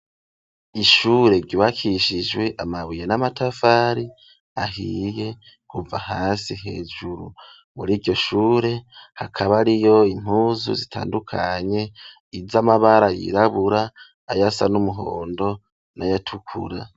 Ishure ryubakishijwe, amabuye n'amatafari ahiye, kuva hasi hejuru, muri iryo shure, hakaba hariyo impuzu, zitandukanye; iz'amabara yirabura, ayasa n'umuhondo, n'ayatukura.